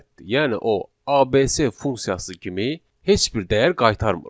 Yəni o, ABS funksiyası kimi heç bir dəyər qaytarmır.